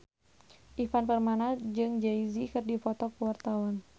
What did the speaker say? Ivan Permana jeung Jay Z keur dipoto ku wartawan